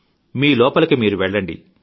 మీలోపలికి మీరు వెళ్లండి